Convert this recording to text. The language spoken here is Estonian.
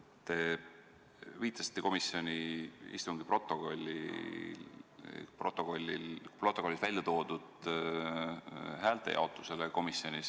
Te viitasite komisjoni istungi protokollis häälte jaotusele.